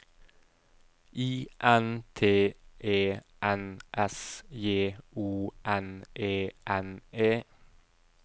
I N T E N S J O N E N E